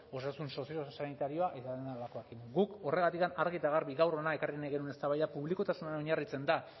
osasun soziosanitarioa guk horregatik argi eta garbi gaur hona ekarri nahi genuen eztabaida publikotasunean oinarritzen da